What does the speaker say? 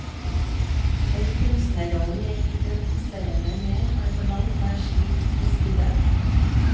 Den kunstnerrollen jeg identifiserer meg med, er på langt nær slik i skuddet.